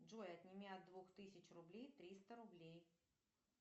джой отними от двух тысяч рублей триста рублей